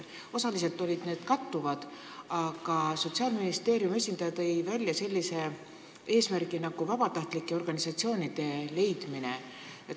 Osaliselt olid need kattuvad, aga Sotsiaalministeeriumi esindaja tõi välja sellise eesmärgi nagu vabatahtlike organisatsioonide leidmine.